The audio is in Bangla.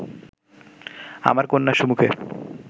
আমার কন্যার সুমুখে